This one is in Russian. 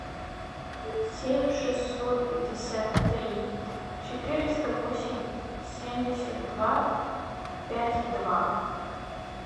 семь шестьсот пятьдесят три четыреста восемь семьдесят два пять два